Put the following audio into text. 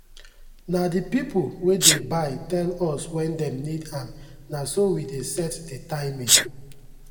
na the people wey dey buy tell us when dem need am na so we dey set the timing.